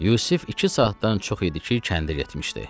Yusif iki saatdan çox idi ki, kəndə getmişdi.